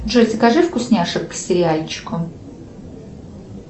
джой закажи вкусняшек к сериальчику